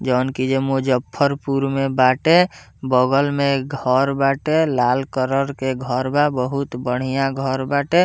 जोवन की एइजा मुजफ्फरपुर में बाटे बगल में घर बाटे लाल कलर के घर बा बहुत बढ़िया घर बाटे।